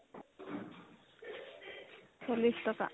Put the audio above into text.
চল্লিশ টকা